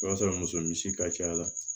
O b'a sɔrɔ muso misi ka ca la